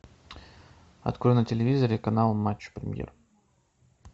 открой на телевизоре канал матч премьер